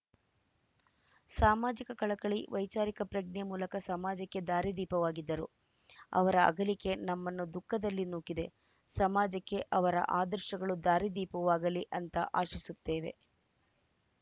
ಸಾಮಾಜಿಕ ಕಳಕಳಿ ವೈಚಾರಿಕ ಪ್ರಜ್ಞೆ ಮೂಲಕ ಸಮಾಜಕ್ಕೆ ದಾರಿದೀಪವಾಗಿದ್ದರು ಅವರ ಅಗಲಿಕೆ ನಮ್ಮನ್ನು ದುಃಖದಲ್ಲಿ ನೂಕಿದೆ ಸಮಾಜಕ್ಕೆ ಅವರ ಆದರ್ಶಗಳು ದಾರಿದೀಪವಾಗಲಿ ಅಂತ ಆಶಿಸುತ್ತೇವೆ